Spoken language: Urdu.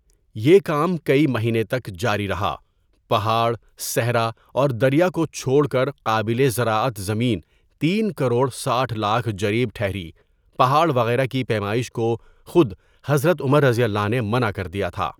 یہ کام کئی مہینے تک جاری رہا، پہاڑ، صحرا اوردریا کو چھوڑ کر قابل زراعت زمین تین کروڑ ساٹھ لاکھ جریب ٹھہری پہاڑ وغیرہ کی پیمائش کو خود حضرت عمرؓ نے منع کر دیا تھا.